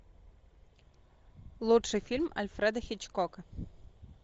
лучший фильм альфреда хичкока